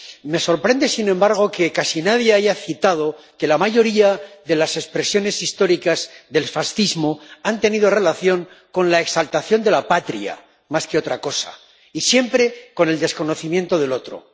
Me sorprende, sin embargo, que casi nadie haya citado que la mayoría de las expresiones históricas del fascismo han tenido relación con la exaltación de la patria más que otra cosa, y siempre con el desconocimiento del otro.